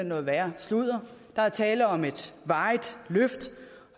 noget værre sludder der er tale om et varigt løft